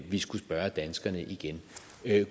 vi skulle spørge danskerne igen